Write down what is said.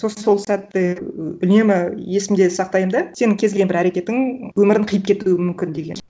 сосын сол сәтті үнемі есімде сақтаймын да сенің кез келген бір әрекетің өмірін қиып кетуі мүмкін деген